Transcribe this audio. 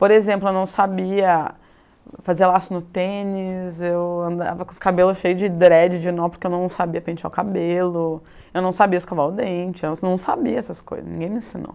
Por exemplo, eu não sabia fazer laço no tênis, eu andava com os cabelos cheios de dread, de nó, porque eu não sabia pentear o cabelo, eu não sabia escovar o dente, eu não sabia essas coisas, ninguém me ensinou.